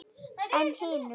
En hinum?